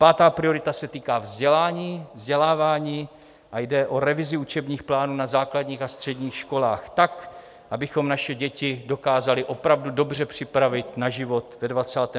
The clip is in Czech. Pátá priorita se týká vzdělání, vzdělávání a jde o revizi učebních plánů na základních a středních školách tak, abychom naše děti dokázali opravdu dobře připravit na život ve 21. století.